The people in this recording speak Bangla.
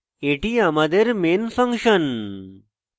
এটি আমাদের main ফাংশন